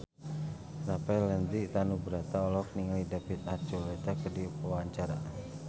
Rafael Landry Tanubrata olohok ningali David Archuletta keur diwawancara